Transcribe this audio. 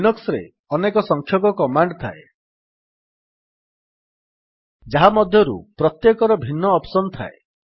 Linux ରେ ଅନେକ ସଂଖ୍ୟକ କମାଣ୍ଡ୍ ଥାଏ ଯାହା ମଧ୍ୟରୁ ପ୍ରତ୍ୟେକର ଭିନ୍ନ ଅପ୍ସନ୍ ଥାଏ